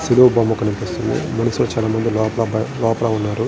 సిలువ బొమ్మ కనిపిస్తుంది మనుషులు చాలామంది లోపల బై లోపల ఉన్నారు.